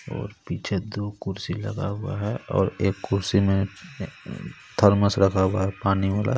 ओर पीछे दो कुर्सी लगा हुआ है और एक कुर्सी में थरमस रखा हुआ है पानी वाला.